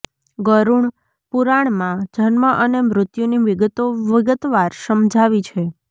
ગરુણ પુરાણમાં જન્મ અને મૃત્યુની વિગતો વિગતવાર સમજાવી છે